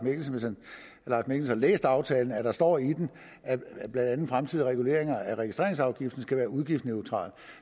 mikkelsen har læst aftalen at der står i den at blandt andet fremtidige reguleringer af registreringsafgiften skal være udgiftsneutrale